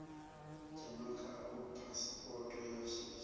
dzhena khao phasipoto ya shishi